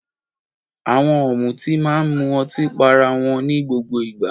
Àwọn ọ̀mùtí máa ń mu ọtí pá ará wọn ní gbogbo ìgbà.